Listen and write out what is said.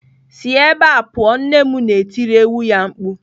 "Sie ebe a pụọ! " Nne m na-etiri ewu ya mkpu.